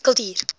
kultuur